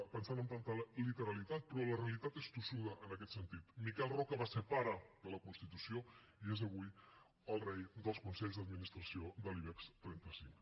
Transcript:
pensant amb tanta literalitat però la realitat és tossuda en aquest sentit miquel roca va ser pare de la constitució i és avui el rei dels consells d’administració de l’ibex trenta cinc